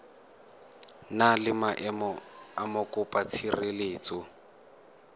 na le maemo a mokopatshireletso